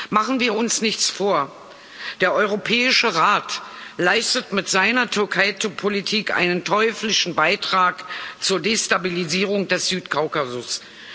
Machen wir uns nichts vor Der Europäische Rat leistet mit seiner Türkei Politik einen teuflischen Beitrag zur Destabilisierung des Südkaukasus.